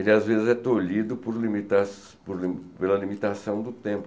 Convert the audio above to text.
Ele, às vezes, é tolhido por limitas pela limitação do tempo.